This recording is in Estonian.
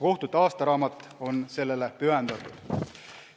Kohtute aastaraamat on sellele pühendatud.